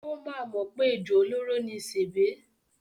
Ó máa mọ̀ pé ejò olóró ni sèbé.